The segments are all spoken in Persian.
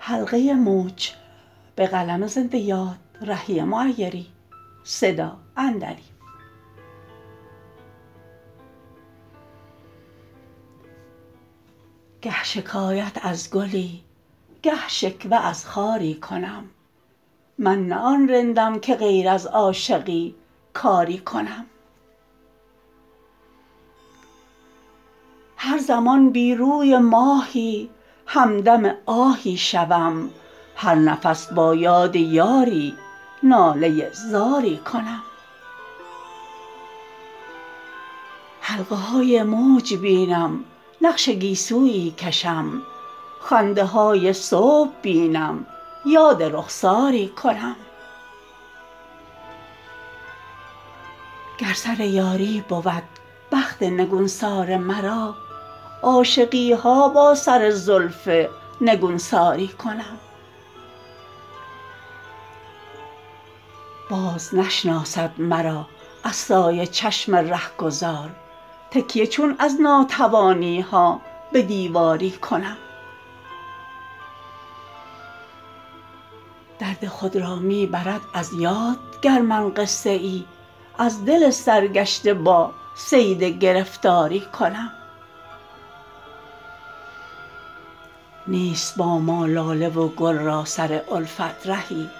گه شکایت از گلی گه شکوه از خاری کنم من نه آن رندم که غیر از عاشقی کاری کنم هر زمان بی روی ماهی همدم آهی شوم هر نفس با یاد یاری ناله زاری کنم حلقه های موج بینم نقش گیسویی کشم خنده های صبح بینم یاد رخساری کنم گر سر یاری بود بخت نگونسار مرا عاشقی ها با سر زلف نگونساری کنم باز نشناسد مرا از سایه چشم رهگذار تکیه چون از ناتوانی ها به دیواری کنم درد خود را می برد از یاد گر من قصه ای از دل سرگشته با صید گرفتاری کنم نیست با ما لاله و گل را سر الفت رهی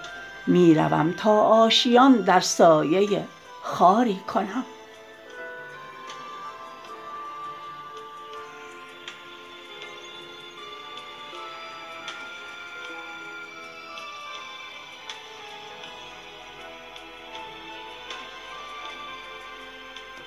می روم تا آشیان در سایه خاری کنم